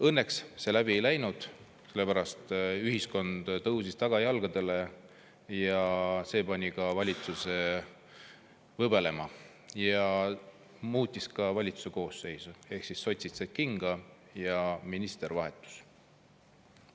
Õnneks see läbi ei läinud, sellepärast ühiskond tõusis tagajalgadele ja see pani ka valitsuse võbelema ja muutis ka valitsuse koosseisu, ehk sotsid said kinga ja minister vahetus.